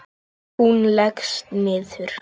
Og hún leggst niður.